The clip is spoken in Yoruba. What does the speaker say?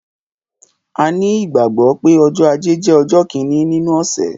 A ní ìgbàgbọ́ pé ọjọ́ ajé jẹ́ ọjọ́ kíni nínú ọ̀sẹ̀